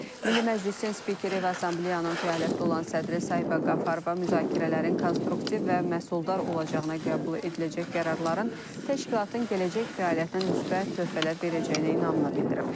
Milli Məclisin spikeri və Assambleyanın fəaliyyətdə olan sədri Sahibə Qafarova müzakirələrin konstruktiv və məhsuldar olacağına qəbul ediləcək qərarların təşkilatın gələcək fəaliyyətinə müsbət töhfələr verəcəyinə inamını bildirib.